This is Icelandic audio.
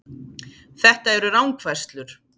Þetta eru rangfærslur